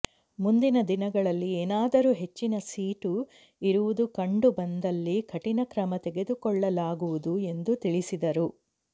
ಮುಂದಿನ ದಿನಗಳಲ್ಲಿ ಏನಾದರೂ ಹೆಚ್ಚಿನ ಸೀಟು ಇರುವುದು ಕಂಡು ಬಂದಲ್ಲಿ ಕಠಿಣ ಕ್ರಮ ತೆಗೆದುಕೊಳ್ಳಲಾಗುವುದು ಎಂದು ತಿಳಿಸಿದರು